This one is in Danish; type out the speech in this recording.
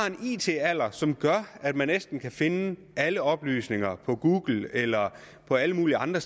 en it alder som gør at man næsten kan finde alle oplysninger på google eller alle mulige andre